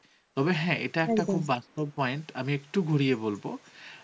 তবে হ্যাঁ এটা খুব বাস্তব point আমি একটু ঘুরিয়ে বলব